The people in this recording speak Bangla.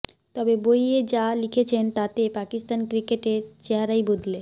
তবে বইয়ে যা লিখেছেন তাতে পাকিস্তান ক্রিকেটের চেহারাই বদলে